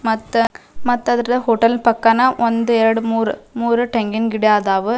ಮತ್ತ ಮತ್ತ ಅದ್ರ ಹೋಟೆಲ್ ಪಕ್ಕನ ಒಂದ್ ಎರಡ್ ಮೂರ್ ಮೂರ್ ತೆಂಗಿನ ಗಿಡ ಆದವು.